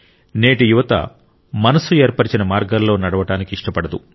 నేటి యువత మనస్సు ఏర్పరిచిన మార్గాల్లో నడవడానికి ఇష్టపడదు